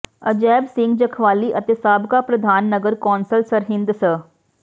ਅਜੈਬ ਸਿੰਘ ਜਖਵਾਲੀ ਅਤੇ ਸਾਬਕਾ ਪ੍ਰਧਾਨ ਨਗਰ ਕੌਂਸਲ ਸਰਹਿੰਦ ਸ